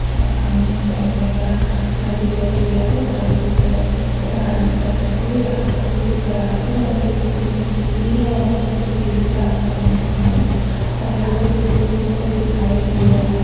और सामने एक बैठने का घर दिखाई दे रहा है जहां पे लोग बैठ सकते है आराम कर सकते है ये रास्ता थोड़ी सी खराब है और ये थोड़ी सी मिट्टी की है और थोड़ी सी ग्रीन रास्ता बन चुकी है और यहाँ पे दूर दूर तक कोई दिखाई नहीं दे रहा है।